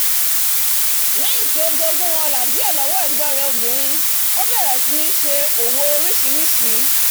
lẹ́yìn tí ó jogún ọlá díẹ̀ lọ́wọ́ ẹ̀gbón rẹ̀ obìnrin ó bẹ̀rẹ̀ sí ní ṣe orísìsísì òwò